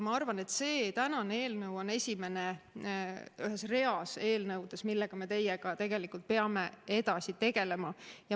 Ma arvan, et tänane eelnõu on esimene ühes reas eelnõudes, millega me teiega tegelikult peame edasi tegelema.